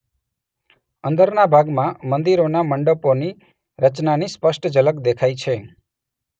અંદરના ભાગમાં મંદિરોના મંડપોની રચનાની સ્પષ્ટ ઝલક દેખાય છે